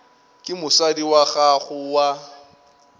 ke mosadi wa gago wa